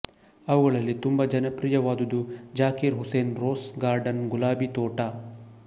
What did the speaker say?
ಅವುಗಳಲ್ಲಿ ತುಂಬ ಜನಪ್ರಿಯವಾದುದು ಜಾಕಿರ್ ಹುಸೇನ್ ರೋಸ್ ಗಾರ್ಡನ್ ಗುಲಾಬೀ ತೋಟ